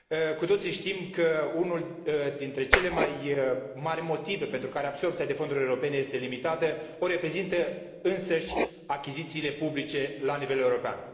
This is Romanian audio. Cu toții știm că unul dintre cele mai mari motive pentru care absorbția de fonduri europene este limitată îl reprezintă însăși achizițiile publice la nivel european.